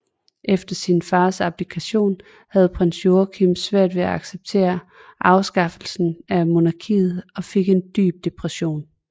Efter sin fars abdikation havde Prins Joachim svært ved at acceptere afskaffelsen af monarkiet og fik en dyb depression